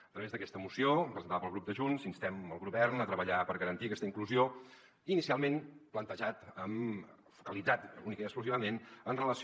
a través d’aquesta moció presentada pel grup de junts instem el govern a tre·ballar per garantir aquesta inclusió inicialment plantejat focalitzat únicament i ex·clusivament en relació